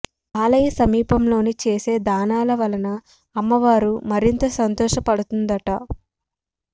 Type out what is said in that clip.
ఆలయ సమీపంలోని చేసే దానాల వలన అమ్మవారు మరింత సంతోష పడుతుందట